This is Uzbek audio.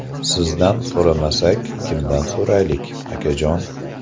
Sizdan so‘ramasak, kimdan so‘raylik, akajon?!